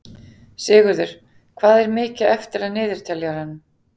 Sigurður, hvað er mikið eftir af niðurteljaranum?